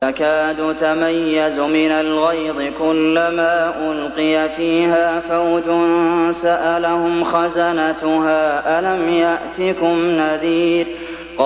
تَكَادُ تَمَيَّزُ مِنَ الْغَيْظِ ۖ كُلَّمَا أُلْقِيَ فِيهَا فَوْجٌ سَأَلَهُمْ خَزَنَتُهَا أَلَمْ يَأْتِكُمْ نَذِيرٌ